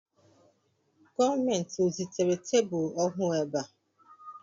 Gọọmenti o zitere tebụl ọhụụ ébé a?